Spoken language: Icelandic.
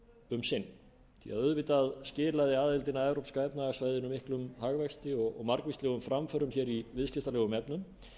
um sinn því auðvitað skilaði aðildin að evrópska efnahagssvæðinu miklum hagvexti og margvíslegum framförum í viðskiptalegum efnum